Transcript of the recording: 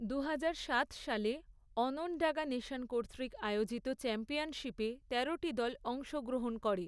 দুহাজারসাত সালে, অনণ্ডাগা নেশন কর্তৃক আয়োজিত চ্যাম্পিয়নশিপে, তেরোটি দল অংশগ্রহণ করে।